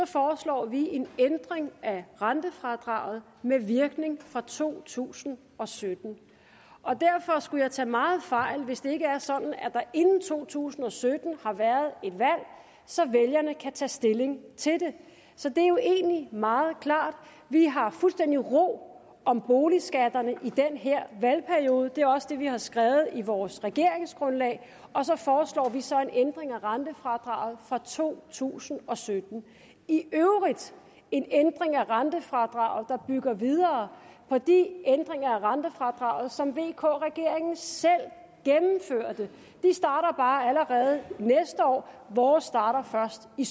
foreslår vi en ændring af rentefradraget med virkning fra to tusind og sytten derfor skulle jeg tage meget fejl hvis det ikke er sådan at der inden to tusind og sytten har været et valg så vælgerne kan tage stilling til det så det er jo egentlig meget klart vi har fuldstændig ro om boligskatterne i den her valgperiode det er også det vi har skrevet i vores regeringsgrundlag og så foreslår vi så en ændring af rentefradraget fra to tusind og sytten i øvrigt en ændring af rentefradraget der bygger videre på de ændringer af rentefradraget som vk regeringen selv gennemførte de starter bare allerede næste år vores starter først i